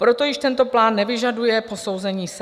Proto již tento plán nevyžaduje posouzení SEA.